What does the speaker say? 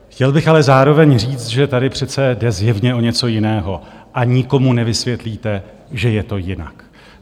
Chtěl bych ale zároveň říct, že tady přece jde zjevně o něco jiného a nikomu nevysvětlíte, že je to jinak.